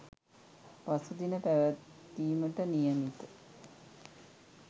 පසුදින පැවැත්වීමට නියමිත